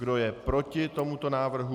Kdo je proti tomuto návrhu?